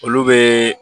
Olu bɛ